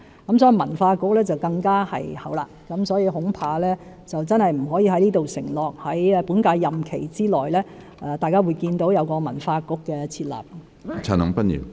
因此，文化局便要再後一點，我恐怕不可以在這裏承諾，在本屆任期內大家可以見到文化局的設立。